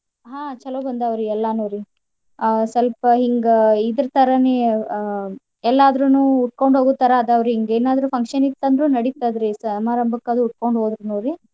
ಹ್ಮ್ ಚೊಲೋ ಬಂದಾವ್ರೀ ಎಲ್ಲಾ ನೋಡಿ ಅ ಸಲ್ಪ ಹಿಂಗ ಇದರ್ ತರಾನೆ ಅಹ್ ಎಲ್ಲಾದ್ರುನು ಉಟ್ಕೊಂಡ್ ಹೋಗೋ ತರಾ ಅದಾವ್ ರೀ ಹಿಂಗ್ ಎನಾದ್ರು function ಇತ್ ಅಂದ್ರ ನಡಿತದ್ ರೀ ಸಮರಂಬಕ್ ಅದು ಉಟ್ಕೊಂಡು ಹೋಗ್ಬೋದು ನೋಡ್ರಿ.